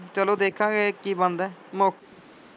ਚਲੋ ਦੇਖਾਂਗੇ ਕਿ ਬਣਦਾ ਮੌਕੇ।